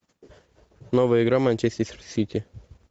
новая игра манчестер сити